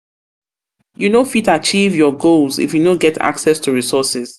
you no fit achieve your goals if you no get access to resources.